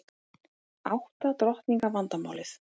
Átta drottninga vandamálið